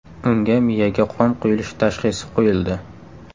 Unga miyaga qon quyilishi tashxisi qo‘yildi.